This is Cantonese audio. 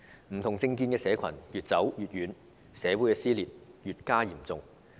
不同政見的社群越走越遠，社會撕裂越加嚴重。